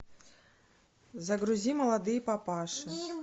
загрузи молодые папаши